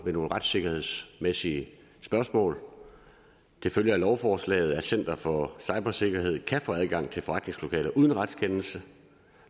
nogle retssikkerhedsmæssige spørgsmål det følger af lovforslaget at center for cybersikkerhed kan få adgang til forretningslokaler uden retskendelse